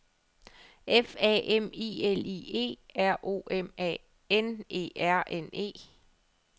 F A M I L I E R O M A N E R N E